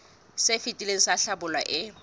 se fetileng sa hlabula e